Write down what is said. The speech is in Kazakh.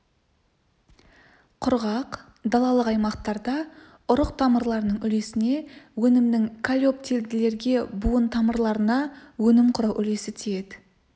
құрғақ далалық аймақтарда ұрық тамырларының үлесіне өнімнің колеоптилділерге буын тамырларына өнім құрау үлесі тиеді